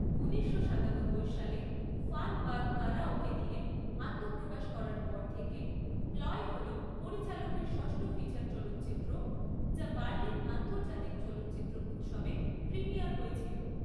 উনিশশো সাতানব্বই সালে ফান বার কারাওকে দিয়ে আত্মপ্রকাশ করার পর থেকে 'প্লয়' হল পরিচালকের ষষ্ঠ ফিচার চলচ্চিত্র, যা বার্লিন আন্তর্জাতিক চলচ্চিত্র উৎসবে প্রিমিয়ার হয়েছিল।